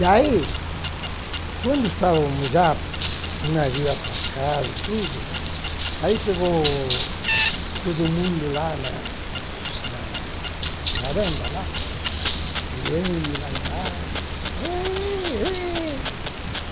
Daí, quando já estávamos com o navio atracado e tudo, né, aí chegou todo mundo lá na na varanda lá, olhando lá embaixo. Êh eh